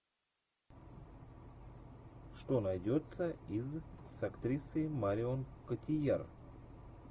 что найдется из с актрисой марион котийяр